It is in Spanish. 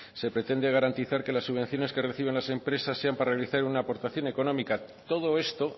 se pretende garantizar que las subvenciones que reciben las empresas sean para realizar una aportación económica todo esto